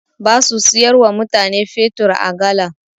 Ba su siyar wa mutane fetur a galan.